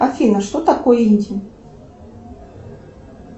афина что такое инди